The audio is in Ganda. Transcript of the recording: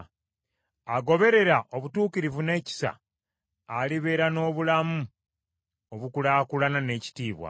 Agoberera obutuukirivu n’ekisa, alibeera n’obulamu obukulaakulana n’ekitiibwa.